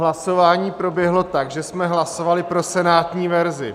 Hlasování proběhlo tak, že jsme hlasovali pro senátní verzi.